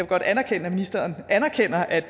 godt anerkende at ministeren anerkender at